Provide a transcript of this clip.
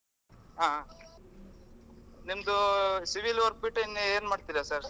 ಆಹ್ ನಿಮ್ದು civil work ಬಿಟ್ಟು ಇನ್ನೂ ಎನ್ ಮಾಡ್ತೀರಾ sir ?